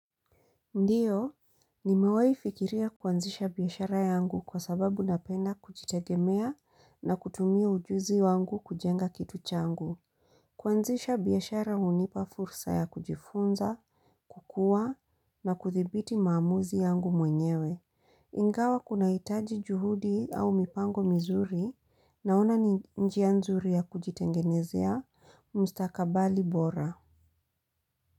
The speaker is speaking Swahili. Ndio, nimewai fikiria kuanzisha biashara yangu kwa sababu napenda kujitegemea na kutumia ujuzi wangu kujenga kitu changu. Kuanzisha biashara hunipa fursa ya kujifunza, kukua na kuthibiti maamuzi yangu mwenyewe. Ingawa kunahitaji juhudi au mipango mizuri naona njia nzuri ya kujitengenezea mstakabali bora.